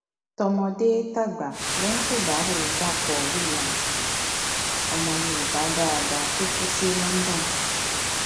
tọmọdétàgbà ló ń ṣèdàrọ dapò williams ọmọ yorùbá dáadáa tó kù sí london